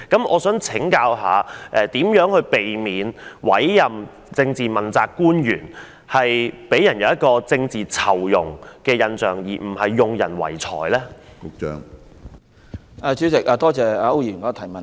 我想請問局長，如何避免問責官員的委任工作，給人政治酬庸而不是用人唯才的印象？